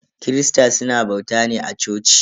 Kirista suna bauta ne a coci.